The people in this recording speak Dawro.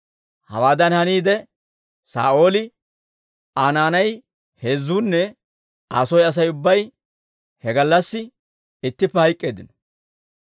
Hawaadan haniide, Saa'ooli, Aa naanay heezzuunne Aa soy Asay ubbay he gallassi ittippe hayk'k'eeddino.